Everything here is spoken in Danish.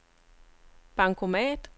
bankomat